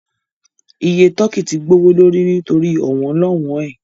Iye tọ́kì tí gbowó lórí nítorí ọ̀wọ́n-lọ́wọn ẹ